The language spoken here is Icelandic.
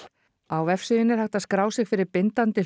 á vefsíðunni er hægt að skrá sig fyrir bindandi